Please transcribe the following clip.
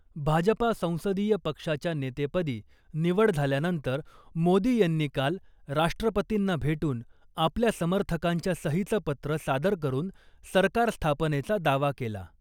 भाजपा संसदीय पक्षाच्या नेतेपदी निवड झाल्यानंतर मोदी यांनी काल राष्ट्रपतींना भेटून आपल्या समर्थकांच्या सहीचं पत्र सादर करुन सरकार स्थापनेचा दावा केला .